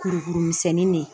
Kurukurumisɛnnin de